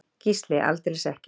Gísli: Aldeilis ekki.